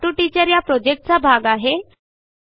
हे talk to teacher या प्रॉजेक्टचा एक भाग आहे